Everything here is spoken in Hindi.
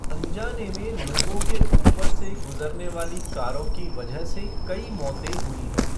अनजाने में लोगों के ऊपर से गुजरने वाली कारों की वजह से कई मौतें हुई हैं।